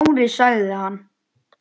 Smári- sagði hann.